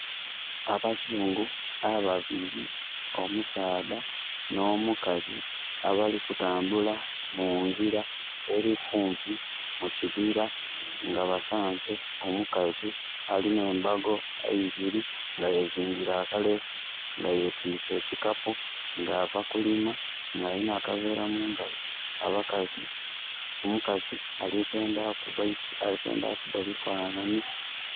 Abazungu ababiri, omusaadha n'omukazi, abali kutambula mu ngira eri kumpi mu kibira, nga basaanze omukazi alina embago ibiri, nga yezingire akaleesu, nga yetwiise ekikapu nga ava kulima, nga alina akaveera mangalo. Omukazi ali kwenda kuba bifanhanhi.